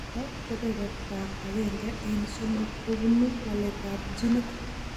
Cheto kebertab agenge eng' somok ko bunu waletab ginit.